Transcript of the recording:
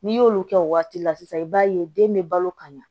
N'i y'olu kɛ o waati la sisan i b'a ye den bɛ balo ka ɲa